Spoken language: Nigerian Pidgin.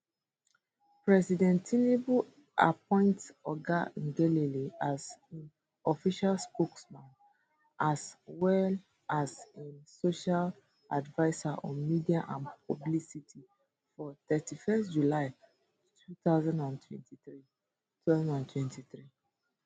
president tinubu appoint oga ngelale as im official spokesman as well as im special adviser on media and publicity for thirty first july 2023 2023